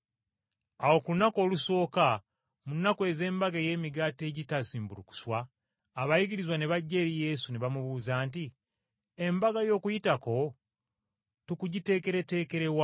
Awo ku lunaku olusooka mu nnaku ez’Embaga ey’Emigaati egitazimbulukuswa, abayigirizwa ne bajja eri Yesu ne bamubuuza nti, “Embaga y’Okuyitako tukugiteekereteekere wa?”